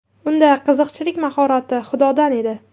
Unda qiziqchilik mahorati Xudodan edi.